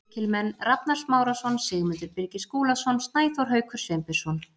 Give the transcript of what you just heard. Lykilmenn: Rafnar Smárason, Sigmundur Birgir Skúlason, Snæþór Haukur Sveinbjörnsson.